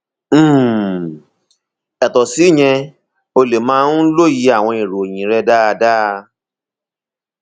um yàtọ síyẹn o lè má um lóye àwọn ìròyìn rẹ dáadáa